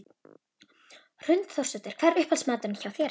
Hrund Þórsdóttir: Hvað er uppáhalds maturinn hjá þér?